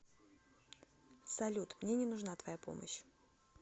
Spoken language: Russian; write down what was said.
салют мне не нужна твоя помощь